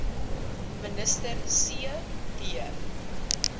minister c b